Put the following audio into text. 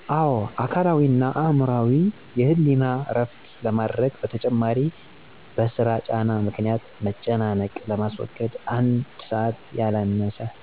አወ። አካላዊ እና አዕምሮአዊ የህሌና እረፍት ለማድረግ በተጨማሪም በስራ ጫና ምክኒያት መጨናነቅ ለማስወገድ አንድ ሰዐት ያላነሰ